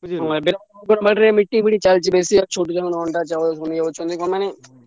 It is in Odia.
Meeting ଚାଲିଛି ।